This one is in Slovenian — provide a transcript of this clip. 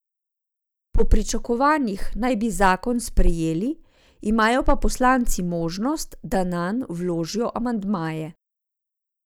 Po pričakovanjih naj bi zakon sprejeli, imajo pa poslanci možnost, da nanj vložijo amandmaje.